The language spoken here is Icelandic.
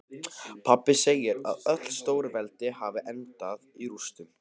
Pabbi segir að öll stórveldi hafi endað í rústum.